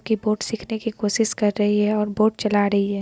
की बोट सीखने की कोशिश कर रही है और बोट चला रही है।